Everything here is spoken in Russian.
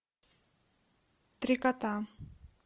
три кота